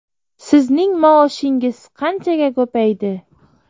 Sizning maoshingiz qanchaga ko‘paydi?